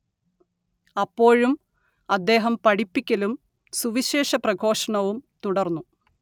അപ്പോഴും അദ്ദേഹം പഠിപ്പിക്കലും സുവിശേഷ പ്രഘോഷണവും തുടർന്നു